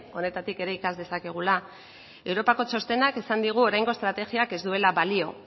honetatik ere ikas dezakegula europako txostenak esan digu oraingo estrategiak ez duela balio